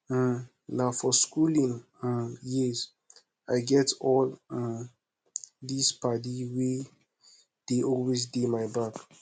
um na for skooling um years i get all um these paddy wey dey always dey my back